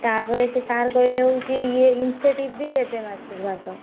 ତାପରେ ସିଏ sir କହିଲେ ହଉଛି ସିଏ ଇଏ incentive ବି ଦେବେ ମାସକୁ ମାସ।